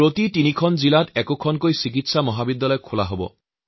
প্ৰতি তিনিখন জিলাৰ মাজত এখনকৈ নতুন মেডিকেল কলেজ খোলা হব